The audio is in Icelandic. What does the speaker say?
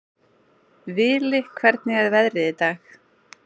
Vili, hvernig er veðrið í dag?